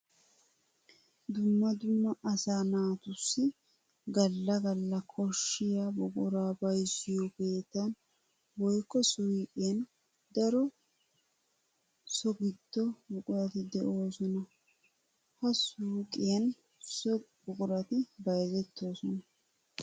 Dumma dumma asaa naatussu gala gala koshiya buqura bayzziyo keettan woykko suyqqiyan daro so gido buquratti de'osonna. Ha suyqqiyan so buquratti bayzzettosona.